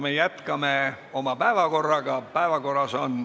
Me jätkame tööd päevakorrapunktidega.